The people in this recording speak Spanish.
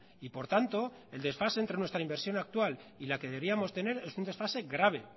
y por tanto el desfase entre nuestra inversión actual y la que debíamos tener es un desfase grave